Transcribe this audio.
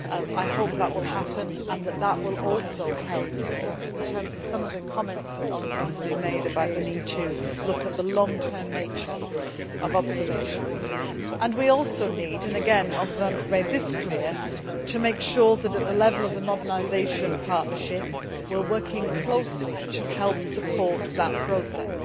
I hope that will happen and that this will also help in the light of some of the comments that honourable Members have made about the need to look at the long term nature of observation. Thirdly we also need, and again Members made this clear, to make sure that at the level of the modernisation partnership we are working closely to help support that process.